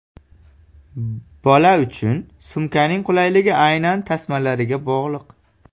Bola uchun sumkaning qulayligi aynan tasmalariga bog‘liq.